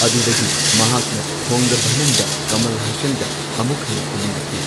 ꯑꯗꯨꯗꯒꯤ ꯃꯍꯥꯛꯅ ꯊꯣꯡꯒ ꯚꯅꯝꯗ ꯀꯃꯜ ꯍꯁꯟꯒ ꯑꯃꯨꯛ ꯍꯟꯅ ꯀꯨꯃꯤꯟꯅꯈꯤ꯫